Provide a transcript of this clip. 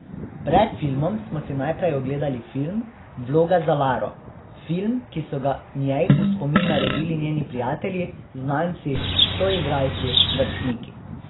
Pred filmom smo si najprej ogledali film, Vloga za Laro, film, ki so ga njej v spomin naredili njeni prijatelji, znanci, soigralci, vrstniki.